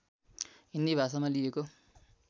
हिन्दी भाषामा लिइएको